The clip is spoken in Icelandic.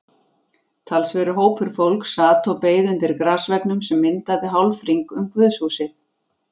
Talsverður hópur fólks sat og beið undir grasveggnum sem myndaði hálfhring um guðshúsið.